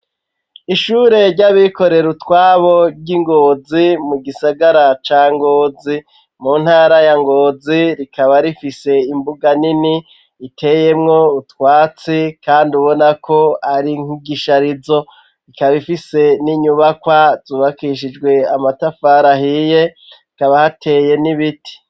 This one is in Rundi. Ishure ry'abikorera utwabo ry'ingozi mu gisagara ca ngozi mu ntara ya ngozi rikaba rifise imbuga nini iteyemwo ubutwatsi kandi ubona ko ari nkigisharizo rikaba ifise n'inyubakwa zubakishijwe amatafari ahiye ikaba hateye n'ibiti.